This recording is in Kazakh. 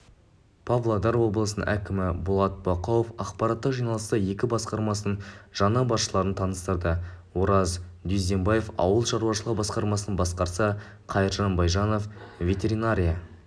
павлодар облысының әкімі болат бақауов аппараттық жиналыста екі басқарманың жаңа басшыларын таныстырды ораз дюздембаев ауыл шаруашылығы басқармасын басқарса қайыржан байжанов ветеринария